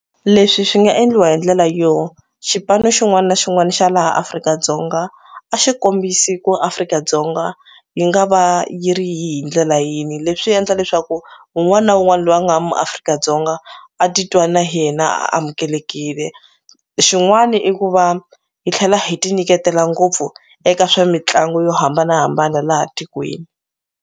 Leswi swi nga endliwa hi ndlela yo xipano xin'wani na xin'wani xa laha Afrika-Dzonga a xikombisi ku Afrika-Dzonga yi nga va yi ri hi hi ndlela yini leswi endla leswaku wun'wani na wu n'wani loyi a nga muAfrika-Dzonga a titwa na yena amukelekile xin'wani i ku va hi tlhela hi ti nyiketela ngopfu eka swa mitlangu yo hambanahambana laha tikweni.